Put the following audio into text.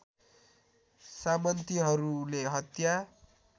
सामन्तीहरूले हत्या